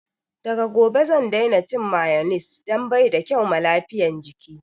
Daga gobe zan daina cin mayones dan baida kyau ma lafiyan jiki